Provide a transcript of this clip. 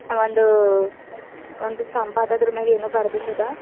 ಒಂದು ಒಂದು ಸ್ತಂಭ ಅದ ಆದ್ರು ಮೇಗೆ ಏನೋ ಬರದಿಂದದ.